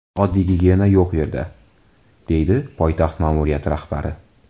Oddiy gigiyena yo‘q u yerda”, dedi poytaxt ma’muriyati rahbari.